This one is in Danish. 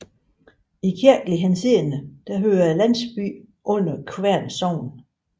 I kirkelig henseende hører landsbyen under Kværn Sogn